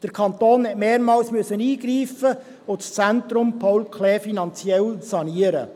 Der Kanton musste mehrmals eingreifen und das ZPK finanziell sanieren.